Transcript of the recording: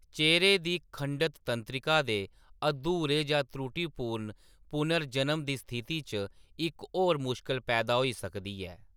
चेह्‌रे दी खंडत तंत्रिका दे अधूरे जां त्रुटिपूर्ण पुनर्जनन दी स्थिति च इक होर मुश्कल पैदा होई सकदी ऐ।